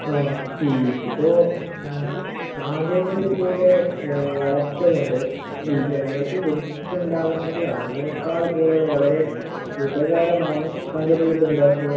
ഏഹ് ഇപ്പൊ സാങ്കേന്തിക വിദ്യയുടെ ഏഹ് വളർച്ച കൊണ്ട് ജനങ്ങൾക്ക് ബുദ്ധിമുട്ട് ഉണ്ടാവുന്നുണ്ട്. അതിനേക്കാൾ കൂടുതൽ വളരെ ഉപകാരമാണ് സാങ്കേന്തിക വിദ്യ കൊണ്ട് ഉണ്ടാവുന്നത്